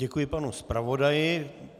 Děkuji panu zpravodaji.